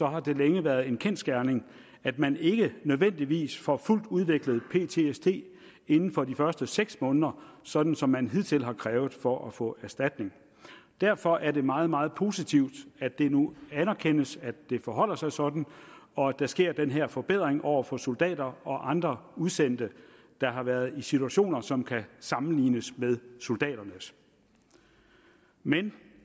har det længe været en kendsgerning at man ikke nødvendigvis får fuldt udviklet ptsd inden for de første seks måneder sådan som man hidtil har krævet for at få erstatning derfor er det meget meget positivt at det nu anerkendes at det forholder sig sådan og at der sker den her forbedring over for soldater og andre udsendte der har været i situationer som kan sammenlignes med soldaternes men